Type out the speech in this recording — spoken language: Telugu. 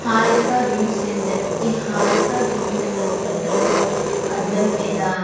హారిక జిమ్ సెంటర్ ఈ హారిక జిమ్ సెంటర్లో అద్దం మీద--